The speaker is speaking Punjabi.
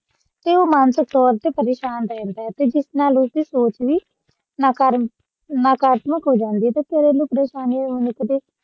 ਤੇ ਉਹ ਮਾਨਸਿਕ ਤੋਰ ਤੇ ਪ੍ਰੇਸ਼ਾਨ ਰਹਿੰਦਾ ਹੈ ਤੇ ਜਿਸ ਨਾਲ ਉਸ ਦੀ ਸੋਚ ਵੀ ਨਾਕਾਰਤ ਨਾਕਾਰਾਤਮਕ ਹੋ ਜਾਂਦੀ ਹੈ ਤੇ ਫਿਰ ਮਨੁੱਖ ਦੇ ਸਾਹਮਣੇ